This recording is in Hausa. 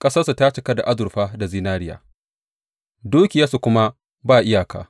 Ƙasarsu ta cika da azurfa da zinariya; dukiyarsu kuma ba iyaka.